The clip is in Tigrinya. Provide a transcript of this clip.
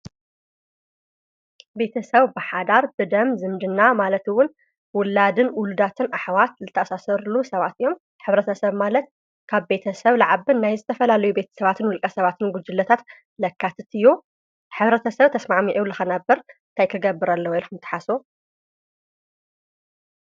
ቤተሰብ ብሓዳር ብደም ዝምድና ማለት እዉን ዉላድን ዉሉዳትን ኣሕዋት ዝተኣሳሰሩሉን ሰባት እዮም። ሕብረተሰብ ማለት ካብ ቤተሰብ ልዓቢ ናይ ዝተፈላለዩ ቤተ ሰባትን ዉልቀ ሰባትን ጉጅለታት ለካትት እዩ ሕብረተሰብ ተስማዕሚዑ ንኽነብር እንታይ ክገብር ኣለዎ ኢልኩም ትሓስቡ?